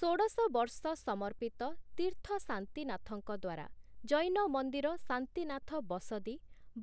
ଷୋଡ଼ଶ ବର୍ଷ ସମର୍ପିତ ତୀର୍ଥ ଶାନ୍ତିନାଥଙ୍କ ଦ୍ଵାରା ଜୈନ ମନ୍ଦିର ଶାନ୍ତିନାଥ ବସଦୀ